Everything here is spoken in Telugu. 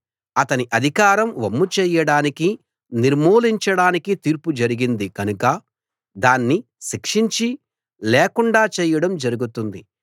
అతని అధికారం వమ్ము చేయడానికి నిర్మూలించ డానికి తీర్పు జరిగింది గనక దాన్ని శిక్షించి లేకుండా చేయడం జరుగుతుంది